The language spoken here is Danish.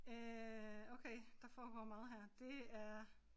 Øh okay der foregår meget her det er